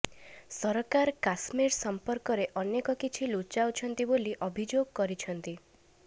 ସରକାର କାଶ୍ମୀର ସଂପର୍କରେ ଅନେକ କିଛି ଲୁଚାଉଛନ୍ତି ବୋଲି ଅଭିଯୋଗ କରିଛନ୍ତି